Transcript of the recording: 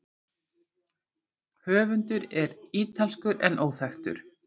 Höfundur er ítalskur en óþekktur.